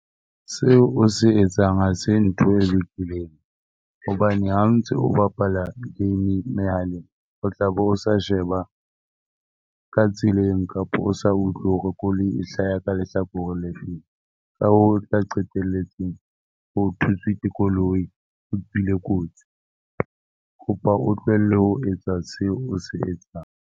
Seo o se etsang ha se ntho e lokileng hobane ha o ntse o bapala game mehaleng o tla be o sa sheba ka tseleng kapa o sa utlwe hore koloi e hlaha ka lehlakore le feng. Ka ho tla qetelletse ho thuswe ke koloi o tswile kotsi. Ke kopa o tlohelle ho etsa seo o se etsang.